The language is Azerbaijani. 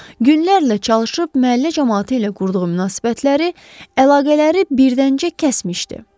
Günlərlə çalışıb məhəllə camaatı ilə qurduğu münasibətləri, əlaqələri birdəncə kəsmişdi.